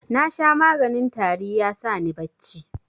Nasha maganin tari ya sani bacci.